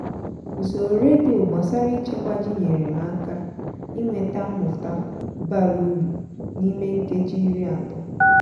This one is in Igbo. usoro redio gbasara ịchekwa ji nyere m aka inweta mmụta bara uru n'ime nkeji iri atọ